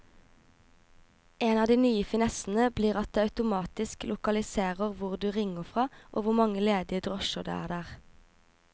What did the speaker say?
En av de nye finessene blir at det automatisk lokaliserer hvor du ringer fra og hvor mange ledige drosjer det er der.